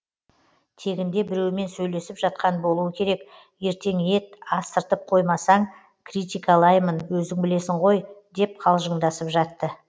тегінде біреумен сөйлесіп жатқан болуы керек ертең ет астырып қоймасаң критикалаймын өзің білесің ғой деп қалжыңдасып жатты